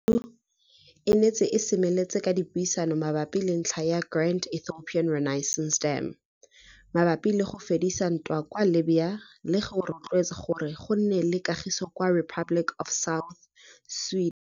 AU e ntse e semeletse ka dipuisano mabapi le ntlha ya Grand Ethiopian Renaissance Dam, mabapi le go fedisa ntwa kwa Libya le go rotloetsa gore go rene kagiso kwa Republic of South Sudan.